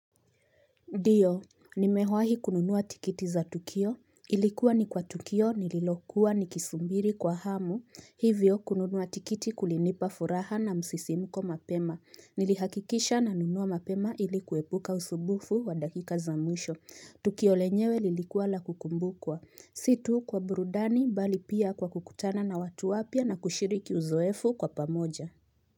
Ndiyo, nimewahi kununuwa tiketi za Tukio. Ilikuwa ni kwa Tukio, nililokuwa nikisubiri kwa hamu. Hivyo kununuwa tikiti kulinipa furaha na msisimuko mapema. Nilihakikisha nanunua mapema ili kuwebuka usubufu wa dakika za mwisho. Tukio lenyewe lilikuwa la kukumbukwa. Si tu kwa burudani bali pia kwa kukutana na watu wapia na kushiriki uzoefu kwa pamoja.